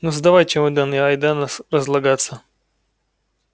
ну сдавай чемодан и айда разлагаться